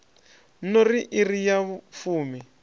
no ri iri ya fumi